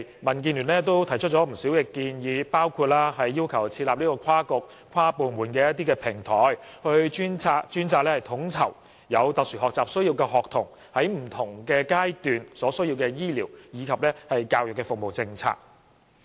民建聯多年來提出了不少建議，包括要求設立跨局、跨部門的平台，專責統籌有特殊學習需要的學童在不同階段所需要的醫療及教育服務政策。